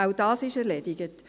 Auch das ist erledigt.